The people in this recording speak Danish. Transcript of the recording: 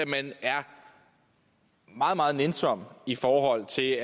man er meget meget nænsom i forhold til